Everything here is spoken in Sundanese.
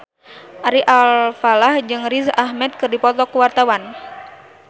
Ari Alfalah jeung Riz Ahmed keur dipoto ku wartawan